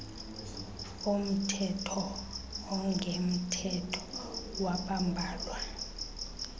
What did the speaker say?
omthetho ongemthetho wabambalwa